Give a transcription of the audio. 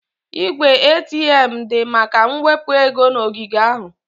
Igwe ATM dị maka mwepu ego na ogige ahụ.